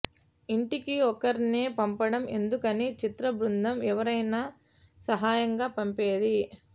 ఇంటికి ఒక్కరినే పంపడం ఎందుకని చిత్ర బృందం ఎవరినైనా సహాయంగా పంపేది